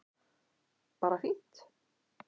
Bara fínt